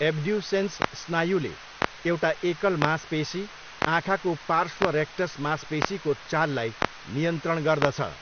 Abducens स्नायुले एउटा एकल मांसपेसी, आँखाको पार्श्व रेक्टस मांसपेसीको चाललाई नियन्त्रण गर्दछ।